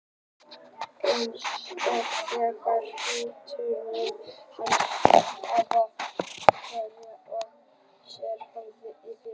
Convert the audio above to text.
Eins og þegar hrúturinn hans afa stangaði af sér hornið í fyrra.